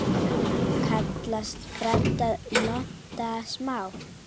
Kallast branda lonta smá.